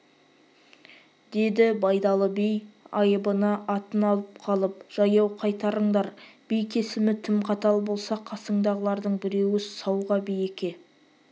деді байдалы би айыбына атын алып қалып жаяу қайтарыңдар би кесімі тым қатал болса қасындағылардың біреуі сауға би-еке